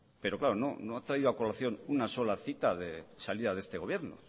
pero claro no ha traído a colación una sola cita de salida de este gobierno